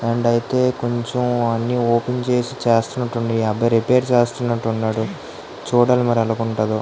And అయితే కొంచెం అన్నీ ఓపెన్ చేస్తూనట్టు ఉన్నారు. అది రిపేర్ చేస్తున్నట్టు ఉన్నారు చూడాలి మరి ఎలా ఉంటాదో.